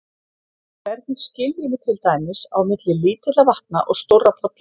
Hvernig skiljum við til dæmis á milli lítilla vatna og stórra polla?